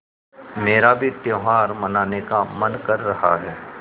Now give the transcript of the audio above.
मेरा भी त्यौहार मनाने का मन कर रहा है